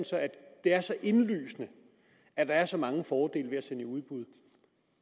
det er så indlysende at der er så mange fordele ved at sende i udbud